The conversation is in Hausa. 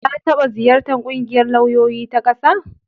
La taɓa ziyartar ƙungiyar lauyoyi ta ƙasa?